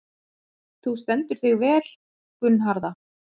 Þú stendur þig vel, Gunnharða!